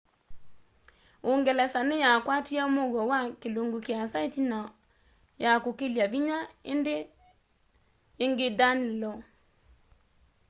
uungelesa ni ya kwatie muuo wa kilungu kiasa itina ya kukilya vinya ingi danelaw